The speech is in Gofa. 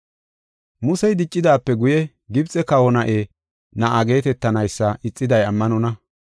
Musey diccidaape guye Gibxe kawa na7e na7a geetetanaysa ixiday ammanonna.